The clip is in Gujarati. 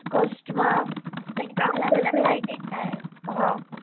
North cost માં ત્યાં અલગ અલગ બધા lighting થાય હા.